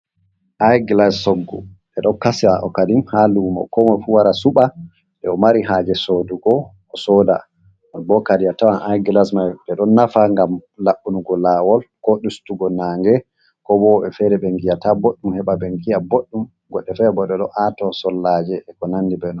Iyglas soggu ɗe ɗon kasi okaɗim ha lumo ko moy fu wara suɓa nde o mari haje sodugo o soda. bo kadi a tawan iglas mai ɗe ɗon nafa gam labnugo lawol ko ɗustugo naange ko bo woɓɓe fere ɓen giyata ɓoɗɗum heɓa ɓen giya boɗdum goɗe fere bo ɗe ɗo aato sollaje e ko nandi be non.